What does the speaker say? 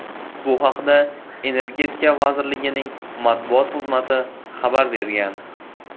Bu haqda Energetika vazirligining matbuot xizmati xabar bergan .